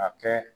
A kɛ